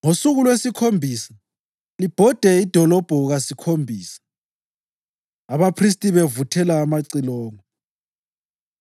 Ngosuku lwesikhombisa libhode idolobho kasikhombisa, abaphristi bevuthela amacilongo.